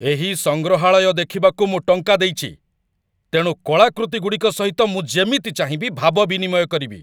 ଏହି ସଂଗ୍ରହାଳୟ ଦେଖିବାକୁ ମୁଁ ଟଙ୍କା ଦେଇଛି, ତେଣୁ କଳାକୃତିଗୁଡ଼ିକ ସହିତ ମୁଁ ଯେମିତି ଚାହିଁବି ଭାବ ବିନିମୟ କରିବି!